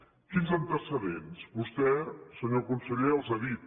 quins antecedents vostè senyor conseller els ha dit